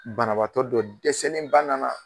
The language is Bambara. Banabaatɔ dɔ dɛsɛlen ba nana.